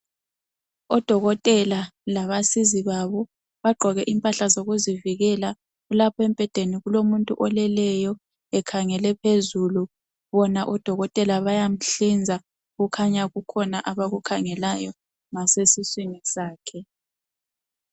Odokotela labasizi babo, bagqoke impahla zokuzivikela. Lapha embhedeni kulomuntu oleleyo ekhangele phezulu. Odokotela bayamhlinza. Kukhanya kukhona abakukhangelayo ngasesiswini sakhe.